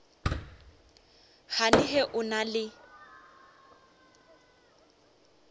gane ge o na le